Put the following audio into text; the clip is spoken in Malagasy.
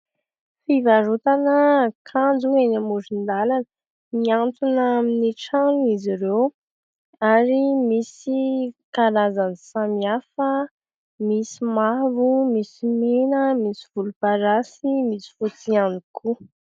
Fivarotana akanjo eny amoron-dàlana. Mihatona amin'ny trano izy ireo, ary misy karazany samihafa, misy mavo, misy mena, misy volomparasy, misy fotsy ihany koa.